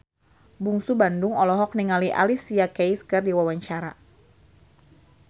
Bungsu Bandung olohok ningali Alicia Keys keur diwawancara